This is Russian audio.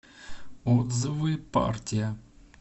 отзывы партия